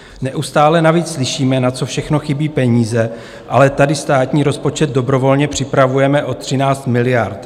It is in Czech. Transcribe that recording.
Neustále navíc slyšíme, na co všechno chybí peníze, ale tady státní rozpočet dobrovolně připravujeme o 13 miliard.